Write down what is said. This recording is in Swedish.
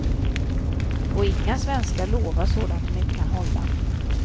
Och inga svenskar lovar sådant de inte kan hålla.